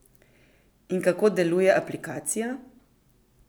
In kako deluje aplikacija?